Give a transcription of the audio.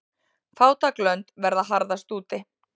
Fátæk lönd verða harðast úti.